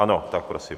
Ano, tak prosím.